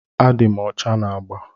Adị m ọcha na agba.